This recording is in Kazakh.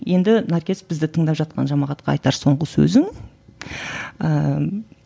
енді наркес бізді тыңдап жатқан жамағатқа айтар соңғы сөзің ііі